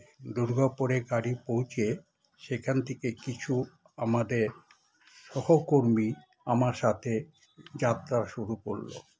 দুর্গাপুরে গাড়ি পৌঁছে সেখান থেকে কিছু আমাদের সহকর্মী আমার সাথে যাত্রা শুরু করল